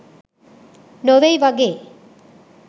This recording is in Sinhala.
නොවෙයි වගේ..